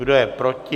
Kdo je proti?